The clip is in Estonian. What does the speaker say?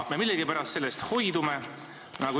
Millegipärast sellest me hoidume.